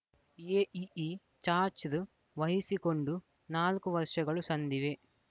AEE charge ವಹಿಸಿಕೊಂಡು ನಾಲ್ಕು ವರ್ಷಗಳು ಸಂದಿವೆ